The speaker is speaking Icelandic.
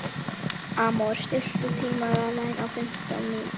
Amor, stilltu tímamælinn á fimmtán mínútur.